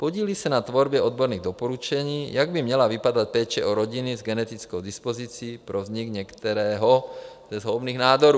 Podílí se na tvorbě odborných doporučení, jak by měla vypadat péče o rodiny s genetickou dispozicí pro vznik některého ze zhoubných nádorů.